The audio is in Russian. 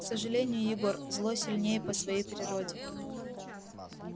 к сожалению егор зло сильнее по своей природе